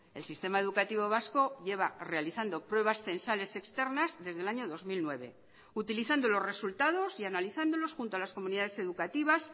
el sistema educativo vasco lleva realizando pruebas censales externas desde el año dos mil nueve utilizando los resultados y analizándolos junto a las comunidades educativas